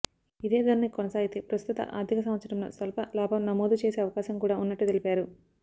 ఇదే ధోరణి కొనసాగితే ప్రస్తుత ఆర్థిక సంవత్సరంలో స్వల్ప లాభం నమోదు చేసే అవకాశం కూడా ఉన్నట్టు తెలిపారు